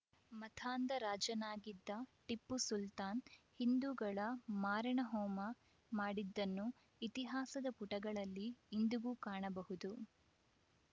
ಮತಾಂಧ ರಾಜನಾಗಿದ್ದ ಟಿಪ್ಪು ಸುಲ್ತಾನ್‌ ಹಿಂದುಗಳ ಮಾರಣಹೋಮ ಮಾಡಿದ್ದನ್ನು ಇತಿಹಾಸದ ಪುಟಗಳಲ್ಲಿ ಇಂದಿಗೂ ಕಾಣಬಹುದು